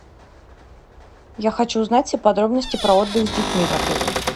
я хочу узнать все подробности про отдых с детьми в отеле